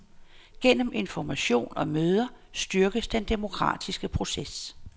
Gennem information og møder styrkers den demokratiske proces.